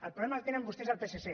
el problema el tenen vostès al psc